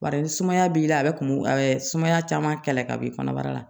Bari ni sumaya b'i la a bɛ kunbɛn sumaya caman kɛlɛ ka bɔ i kɔnɔbara la